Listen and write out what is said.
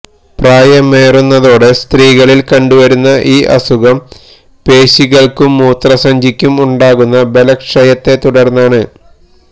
പ്രായമേറുന്നതോടെ സ്ത്രീകളില് കണ്ടുവരുന്ന ഈ അസുഖം പേശികള്ക്കും മൂത്രസഞ്ചിക്കും ഉണ്ടാകുന്ന ബലക്ഷയത്തെത്തുടര്ന്നാണ്